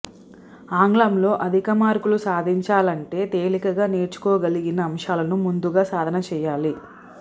ఆంగ్లంలో అధిక మార్కులు సాధించాలంటే తేలికగా నేర్చుకోగలిగిన అంశాలను ముందుగా సాధన చేయాలి